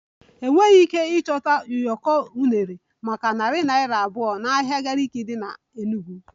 Enweghị ike ịchọta ụyọkọ unere maka narị naira abụọ n'ahịa Gariki dị n'Enugwu